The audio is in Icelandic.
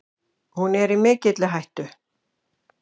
Hún er í mikilli hættu.